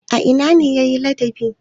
A ina ne ya yi ladabi?